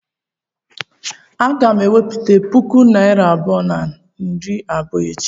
Aga m eweta puku naira abụọ na narị abụọ echi?